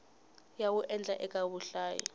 ya wu endlaka eka vahlayi